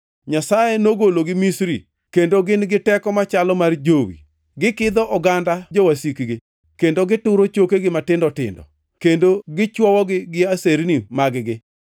“Nyasaye nogologi Misri; kendo gin gi teko machalo mar jowi. Gikidho oganda jowasikgi kendo gituro chokegi matindo tindo; kendo gichwowogi gi aserni mag-gi.